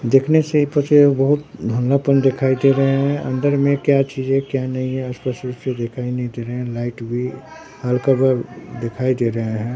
देखने से बहुत धुंधलापन दिखाई दे रहे हैं अंदर में क्या चीज है क्या नहीं है स्पष्ट रूप से दिखाई नहीं दे रहे हैं लाइट भी हल्का भर दिखाई दे रहे हैं।